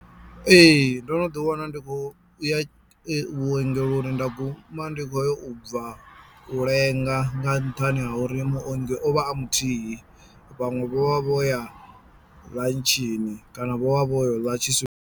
Ee ndo no ḓi wana ndi khou ya vhuongeloni nda guma ndi khoyo u bva u lenga nga nṱhani ha uri muongi o vha a muthihi vhanwe vho vha vho ya ḽantshini kana vho vha vho yo ḽa tshi .